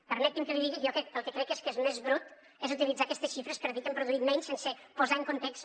permeti’m que li digui que jo el que crec que és més brut és utilitzar aquestes xifres per dir que hem produït menys sense posar en context